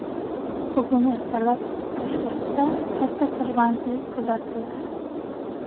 Bugun ertalab Toshkentda katta tirbandlik kuzatildi.